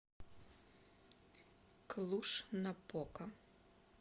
клуж напока